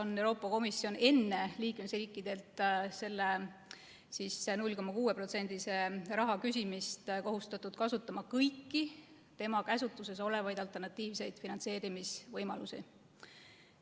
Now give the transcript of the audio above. on Euroopa Komisjon enne liikmesriikidelt selle 0,6%‑lise raha küsimist kohustatud kasutama kõiki tema käsutuses olevaid alternatiivseid finantseerimisvõimalusi.